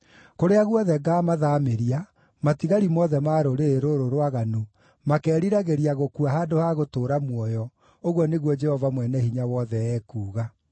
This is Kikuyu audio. Kũrĩa guothe ngaamathaamĩria, matigari mothe ma rũrĩrĩ rũrũ rwaganu, makeeriragĩria gũkua handũ ha gũtũũra muoyo, ũguo nĩguo Jehova Mwene-Hinya-Wothe ekuuga.’